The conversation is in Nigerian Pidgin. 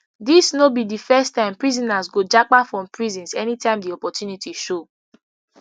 dis no be di first time prisoners go japa from prisons anytime di opportunity show